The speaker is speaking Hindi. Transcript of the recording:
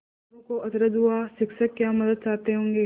मोरू को अचरज हुआ शिक्षक क्या मदद चाहते होंगे